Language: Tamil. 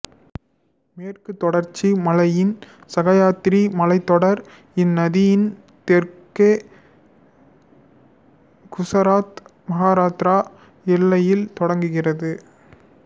மேற்குத் தொடர்ச்சி மலையின் சகயாத்ரி மலைத்தொடர் இந்நதியின் தெற்கே குசராத் மகாராட்டிர எல்லையில் தொடங்குகிறது